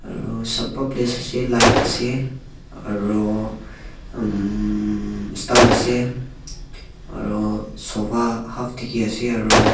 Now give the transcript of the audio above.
aro ase light ase aro umm stan ase aro sofa half dikhiase aro.